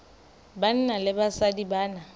banna le basadi ba na